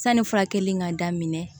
Sanni furakɛli in ka daminɛ